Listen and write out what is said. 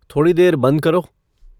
थोड़ी देर बंद करो